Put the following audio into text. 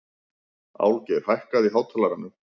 Álfgeir, hækkaðu í hátalaranum.